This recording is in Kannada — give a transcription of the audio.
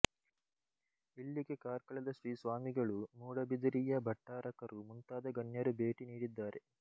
ಇಲ್ಲಿಗೆ ಕಾರ್ಕಳದ ಶ್ರೀ ಸ್ವಾಮಿಗಳು ಮೂಡುಬಿದರೆಯ ಭಟ್ಟಾರಕರು ಮುಂತಾದ ಗಣ್ಯರು ಭೇಟಿ ನೀಡಿದ್ದಾರೆ